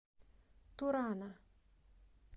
турана